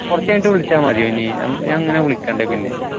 കുറച്ച് കഴിഞ്ഞിട്ട് വിളിച്ചാൽ മതിയോ ഇനി ഞാൻ വിളിക്കണ്ട് പിന്നെ